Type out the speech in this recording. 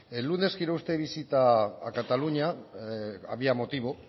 el lunes hizo usted visita a cataluña había motivo